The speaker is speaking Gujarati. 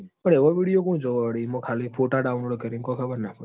પણ એવા video કુણ જોવ વળી ઈમો ખાલી photadownlod કરીન કોઈ ખબર ના પાડી